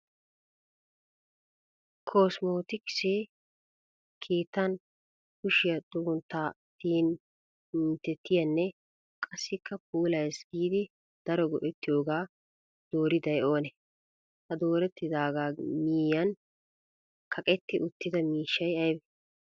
Kosmootikise keettan kushiyaa xugunttaa tiyin minttettiyaanne qassikka puulayees giidi daro go'ettiyoogaa dooriday oonee? ha doorettidaagaa miyyiyan kaqetti uttda miishshay ayibee?